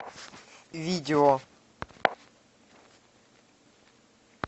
видео